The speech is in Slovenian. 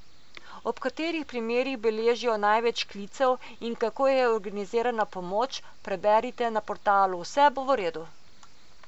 Ob katerih primerih beležijo največ klicev in kako je organizirana pomoč, preberite na portalu Vse bo v redu.